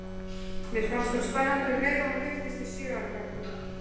Mér fannst hún spennandi um leið og hún birtist í sjö ára bekknum.